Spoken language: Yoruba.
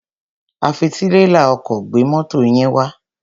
A fi tírélà ọkọ̀ gbé mọ́to yín wá.